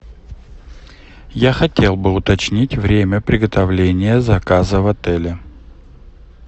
я хотел бы уточнить время приготовления заказа в отеле